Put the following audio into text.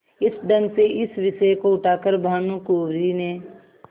इस ढंग से इस विषय को उठा कर भानुकुँवरि ने